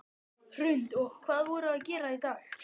Hrund: Og hvað voruð þið að gera í dag?